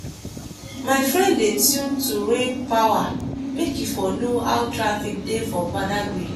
my friend dey tune to raypower make e for know how traffic dey for badagry.